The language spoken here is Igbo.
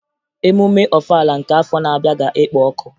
Emume Ọfala nke afọ na-abịa ga-ekpo ọkụ